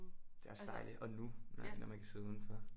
Det er også dejligt og nu når man kan sidde udenfor